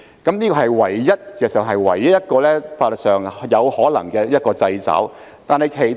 事實上，這是唯一一個在法律上有可能的掣肘。